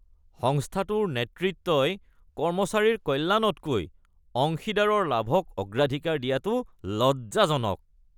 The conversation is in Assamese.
সংস্থাটোৰ নেতৃত্বই কৰ্মচাৰীৰ কল্যাণতকৈ অংশীদাৰৰ লাভক অগ্ৰাধিকাৰ দিয়াটো লজ্জাজনক।